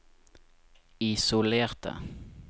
isolerte